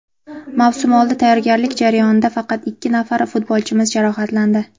Mavsumoldi tayyorgarlik jarayonida faqat ikki nafar futbolchimiz jarohatlandi.